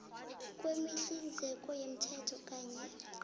kwemihlinzeko yomthetho kanye